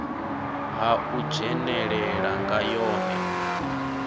ha u dzhenelela nga yone